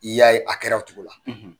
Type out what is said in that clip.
I y'a ye a kɛra o cogo la